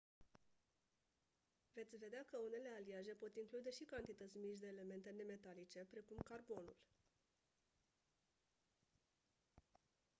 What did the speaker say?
veți vedea că unele aliaje pot include și cantități mici de elemente nemetalice precum carbonul